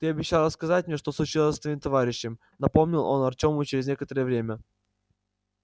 ты обещал рассказать мне что случилось с твоим товарищем напомнил он артёму через некоторое время